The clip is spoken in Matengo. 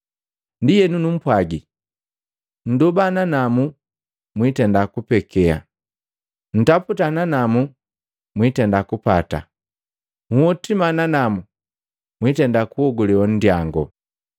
“Ndienu numpwagila, nndoba nanamu biitenda kupekea, ntaputa nanamu mwiitenda kupata, nhotima nanamu biitenda kunhogule nndyango.